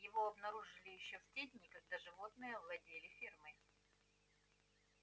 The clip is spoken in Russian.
его обнаружили ещё в те дни когда животные овладели фермой